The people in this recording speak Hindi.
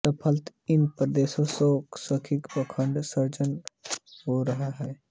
फलत इन प्रदेशों में शैव काव्य का अखंड सृजन होता रहा